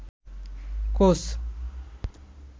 coach